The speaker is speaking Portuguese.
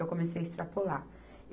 Eu comecei extrapolar.